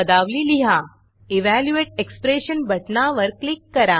evaluate Expressionइवॅल्यूयेट expression बटणावर click करा